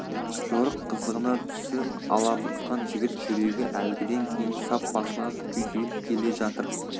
жорық қызығына түсі алабұртқан жігіт жүрегі әлгіден кейін сап басылған күйзеліп келе жатыр